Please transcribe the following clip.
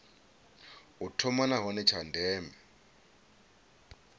u thoma nahone tsha ndeme